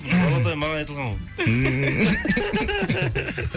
золотой маған айтылған ғой